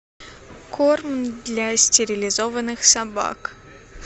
корм для стерилизованных собак